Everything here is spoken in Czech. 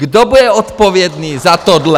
Kdo bude odpovědný za tohle?